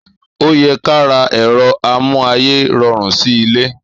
Ò yẹ kà rá èrọ àmú àyé rorún si ìlé